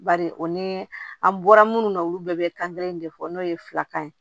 Bari o ni an bɔra munnu na olu bɛɛ bɛ kan kelen de fɔ n'o ye filakan ye